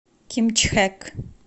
кимчхэк